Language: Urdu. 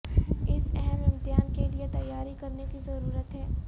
اس اہم امتحان کے لئے تیاری کرنے کی ضرورت ہے